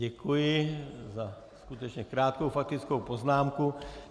Děkuji za skutečně krátkou faktickou poznámku.